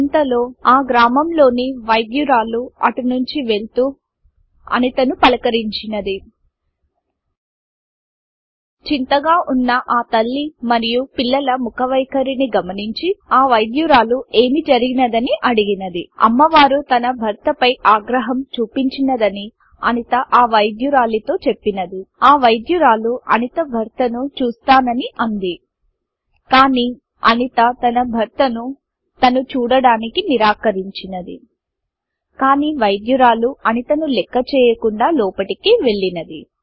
ఇంతలో ఆ గ్రామంలోని వైద్యురాలు అటునుంచి వెళ్తూ అనితను పలకరించింది చిoతగా వున్న ఆ తల్లి మరియు పిల్లల ముఖవైకరిని గమనించి ఆ వైద్యురాలు ఏమి జరిగిoదని అడిగినది అమ్మ వారు తన భర్త పై ఆగ్రహం చుపించిoదని అనిత ఆ వైద్యురాలితో అంది ఆ వైద్యురాలు అనిత భర్తను చూస్తానని అంది కానీ అనిత తన భర్తను తను చూడడానికి నిరాకరించిoది కానీ వైద్యురాలు అనితను లెక్కచేయకుండా లోపటికి వెళ్ళింది